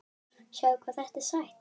Sjáðu hvað þetta er sætt?